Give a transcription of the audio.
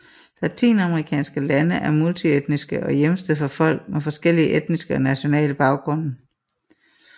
Latinamerikanske lande er multietniske og hjemsted for folk med forskellige etniske og nationale baggrunde